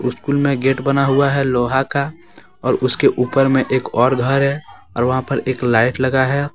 School में gate बना हुआ है लोहा का और उसके ऊपर में एक और घर है और वहां पर एक लाइट लगा है।